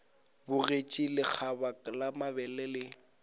bogetše lekgaba la mabele le